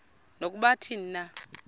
nokuba athini na